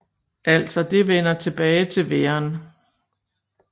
Altså det vender tilbage til væren